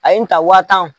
A ye n ta wa tan